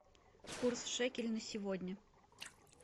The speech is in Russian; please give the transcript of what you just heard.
курс шекель на сегодня